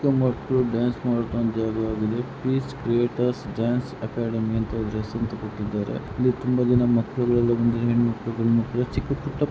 ಎಷ್ಟೋ ಮಕ್ಕಳು ಡ್ಯಾನ್ಸ್ ಆಡ್ತಾವರೆ ಇದು ಪೇಸ್ ಕ್ರಿಯೇಟರ್ಸ್ ಡಾನ್ಸ್ಅಕಾಡೆಮಿಎಲ್ಲ ಸಣ್ಣ ಪುಟ್ಟ ಮಕ್ಕಳು ಡ್ಯಾನ್ಸ್ ಆಡ್ತಾರೆ.